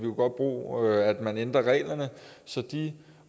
godt bruge at man ændrer reglerne så de